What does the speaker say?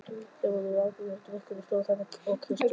Þau voru bæði áberandi drukkin og stóðu þarna og kysstust.